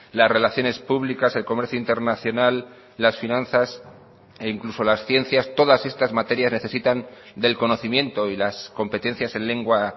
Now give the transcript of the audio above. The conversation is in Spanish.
las relaciones públicas el comercio internacional las finanzas e incluso las ciencias todas estas materias necesitan del conocimiento y las competencias en lengua